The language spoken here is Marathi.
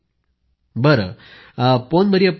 प्रधानमंत्रीः उंगलक्के येन्द पुत्तहम पिडिक्कुम